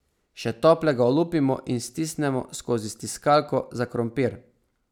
Še toplega olupimo in stisnemo skozi stiskalko za krompir.